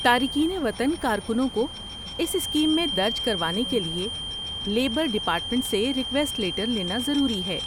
تارکین وطن کارکنوں کو اس اسکیم میں درج کروانے کے لیے لیبر ڈیپارٹمنٹ سے ریکویسٹ لیٹر لینا ضروری ہے۔